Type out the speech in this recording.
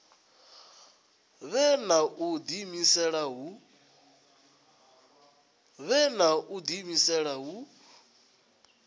vhe na u diimisela hu